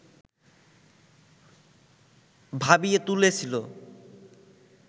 ভাবিয়ে তুলেছিল